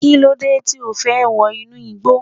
Kílódé tí O fẹ́ wọ inú igbó.